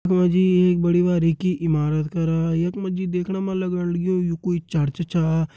यख मा जी एक बड़ी बारीकी इमारत करा यख मा जी देखण मा लगण लग्युं यू कोई चर्च चा।